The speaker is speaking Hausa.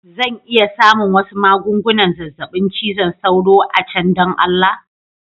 Zan iya samun wasu magungunan zazzabin cizon sauro a can don Allah?.